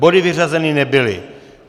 Body vyřazeny nebyly.